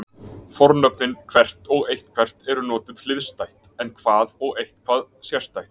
Fornöfnin hvert og eitthvert eru notuð hliðstætt en hvað og eitthvað sérstætt.